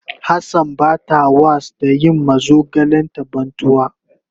Hassan bata was da yin ma zogalen ta bantuwa.